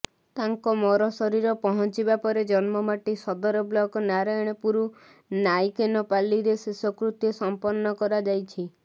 ତାଙ୍କ ମରଶରୀର ପହଞ୍ଚିବା ପରେ ଜନ୍ମମାଟି ସଦର ବ୍ଲକ ନାରାୟଣପୁର ନାଇକେନପାଲିରେ ଶେଷକୃତ୍ୟ ସମ୍ପନ୍ନ କରାଯାଇଛି